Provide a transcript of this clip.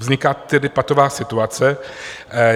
Vznikla tedy patová situace.